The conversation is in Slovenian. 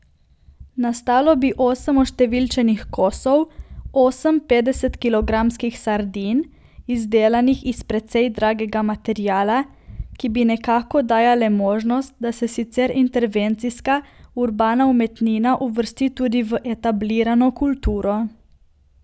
Nastalo bi osem oštevilčenih kosov, osem petdesetkilogramskih sardin, izdelanih iz precej dragega materiala, ki bi nekako dajale možnost, da se sicer intervencijska, urbana umetnina uvrsti tudi v etablirano kulturo.